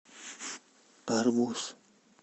арбуз